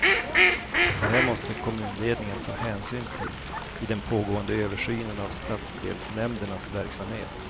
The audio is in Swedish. Det här måste kommunledningen ta hänsyn till i den pågående översynen av stadsdelsnämndernas verksamhet.